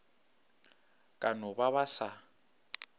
ka no ba ba sa